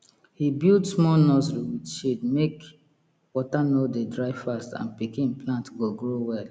he build small nursery with shade make water no dey dry fast and pikin plant go grow well